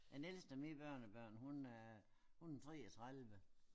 Den ældste af mine børnebørn hun er 33